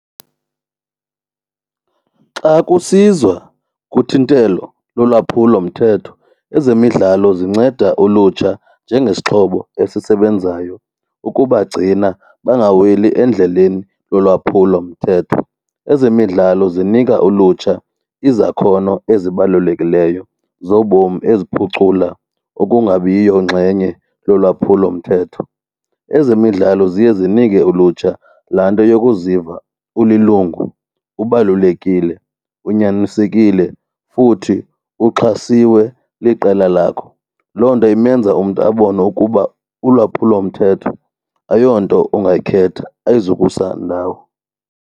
Xa kusizwa kuthintelo lolwaphulo mthetho ezemidlalo zinceda ulutsha njengesixhobo esisebenzayo ukubagcina bangaweli endleleni lolwaphulo mthetho. Ezemidlalo zinika ulutsha izakhono ezibalulekileyo zobomi eziphucula ukungabiyo ngxenye lolwaphulo mthetho. Ezemidlalo ziye zinike ulutsha laa nto yokuziva ulilungu ubalulekile unyanisekile futhi uxhasiwe liqela lakho. Loo nto imenza umntu abone ukuba ulwaphulomthetho ayonto ungayikhetha ayizukusa ndawo.